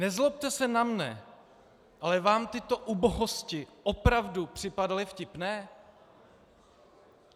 Nezlobte se na mne, ale vám tyto ubohosti opravdu připadaly vtipné?